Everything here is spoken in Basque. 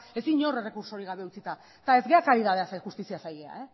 ez inor errekurtso gabe utzita eta ez gara karitateaz ari justiziaz ari gara